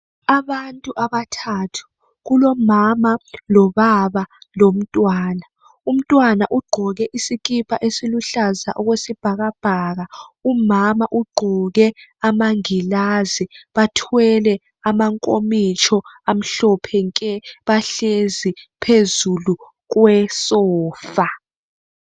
Abantu abathathu kulomama lobaba lomntwana umntwana ugqoke isikipa esiluhlaza okwesibhakabhaka umama ugqoke amangilazi bathwele amankomitsho amhlophe nke bahlezi phezulu kwesofa.